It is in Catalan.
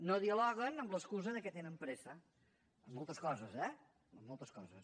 no dialoguen amb l’excusa que tenen pressa en moltes coses eh en moltes coses